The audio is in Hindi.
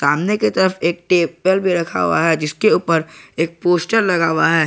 सामने की तरफ एक टेबल भी रखा हुआ है जिसके ऊपर एक पोस्टर लगा हुआ है।